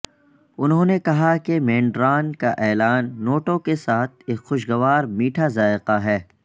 انہوں نے کہا کہ مینڈارن کا اعلان نوٹوں کے ساتھ ایک خوشگوار میٹھا ذائقہ ہے